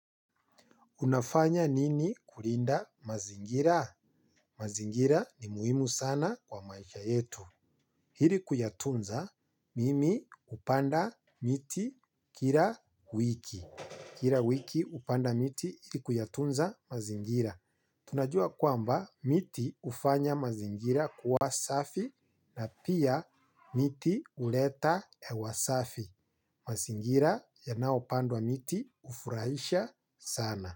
Unafanya nini kulinda mazingira? Mazingira ni muhimu sana kwa maisha yetu. Ili kuyatunza, mimi hupanda miti kila wiki. Kila wiki hupanda miti ili kuyatunza mazingira. Tunajua kwamba miti hufanya mazingira kuwa safi na pia miti huleta hewa safi. Mazingira yanaopandwa miti hufurahisha sana.